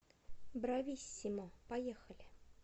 брависсимо поехали